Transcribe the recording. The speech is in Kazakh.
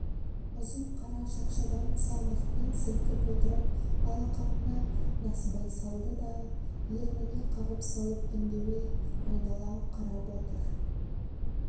ұзын қара шақшадан салмақпен сілкіп отырып алақанына насыбай салды да ерніне қағып салып үндемей айнала қарап отыр